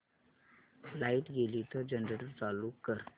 light गेली तर generator चालू कर